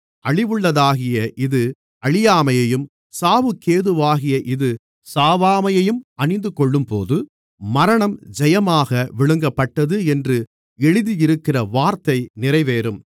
அழிவுள்ளதாகிய இது அழியாமையையும் சாவுக்கேதுவாகிய இது சாவாமையையும் அணிந்துகொள்ளும்போது மரணம் ஜெயமாக விழுங்கப்பட்டது என்று எழுதியிருக்கிற வார்த்தை நிறைவேறும்